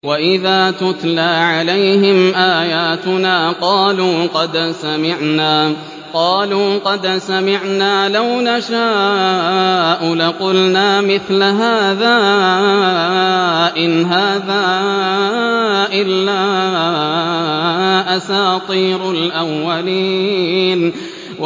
وَإِذَا تُتْلَىٰ عَلَيْهِمْ آيَاتُنَا قَالُوا قَدْ سَمِعْنَا لَوْ نَشَاءُ لَقُلْنَا مِثْلَ هَٰذَا ۙ إِنْ هَٰذَا إِلَّا أَسَاطِيرُ الْأَوَّلِينَ